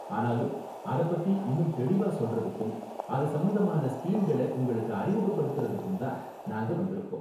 ஆனாலும் அத பத்தி இன்னும் தெளிவா சொல்றதுக்கும், அது சம்பந்தமான ஸ்கீம்கள உங்களுக்கு அறிமுகப்படுத்தறதுக்கும் தான் நாங்க வந்திருக்கோம்